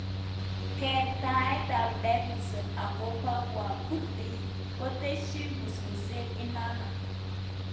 Kertaet ap Davidson agopa wakurdi koteshin musmuset inano.